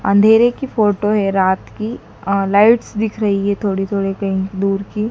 अंधेरे की फोटो है रात की अ लाइट्स दिख रही है थोड़ी थोड़ी कहीं दूर की।